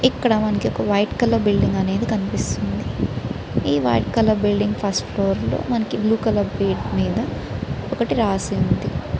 ఇక్కడ మనకి ఒక వైట్ కలర్ బిల్డింగ్ అనేది కనిపిస్తుంది ఈ white colour building first floor లో మనకి బ్లూ కలర్ బోర్డు మీద ఒకటి రాసి ఉంది.